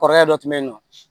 Kɔrɔkɛ dɔ tun bɛ yen nɔ